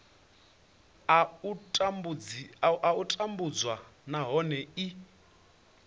a u tambudzwa nahone i